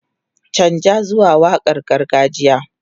Canza zuwa waƙar gargajiya!